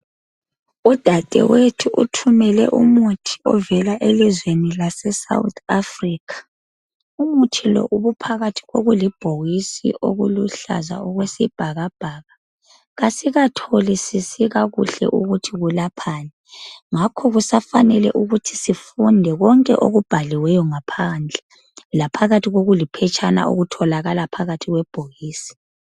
Udadewethu uthumele umuthi ovela elizweni lase South Africa. Umuthi lo ubuphakathi kokulibhokisi okuluhlaza okwesibhakabhaka kasikatholisisikakuhle ukuthi ulaphani ngakho kusafanele ukuthi sifunde konke okubhaliweyo ngaphandle laphakathi kokuliphetshana okutholakala phakathi kwebhokisi.